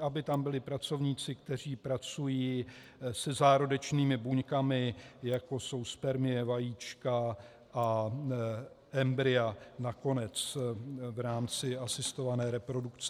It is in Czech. aby tam byli pracovníci, kteří pracují se zárodečnými buňkami, jako jsou spermie, vajíčka a embrya nakonec v rámci asistované reprodukce.